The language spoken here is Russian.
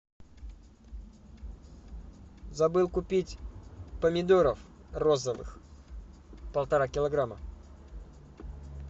забыл купить помидоров розовых полтора килограмма